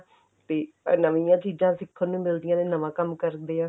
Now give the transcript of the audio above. ਤੇ ਨਵੀਂਆਂ ਚੀਜ਼ਾਂ ਸਿੱਖਣ ਨੂੰ ਮਿਲਦੀਆਂ ਨੇ ਨਵਾਂ ਕੰਮ ਕਰਦੇ ਆਂ